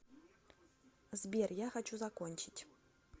сбер я хочу закончить